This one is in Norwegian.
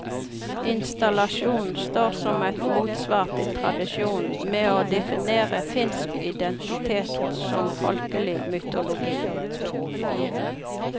Installasjonen står som et motsvar til tradisjonen med å definere finsk identitet gjennom folkelig mytologi.